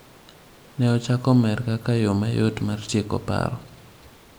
Ne ochako mer kaka yo mayot mar tieko paro.